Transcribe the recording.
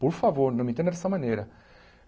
Por favor, não me entenda dessa maneira.